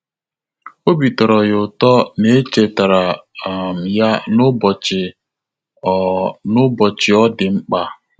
Obi tọ́rọ́ ya ụ́tọ́ na é chètàrà um ya n’ụ́bọ̀chị̀ ọ́ n’ụ́bọ̀chị̀ ọ́ dị̀ mkpa.